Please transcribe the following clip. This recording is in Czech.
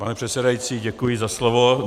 Pane předsedající, děkuji za slovo.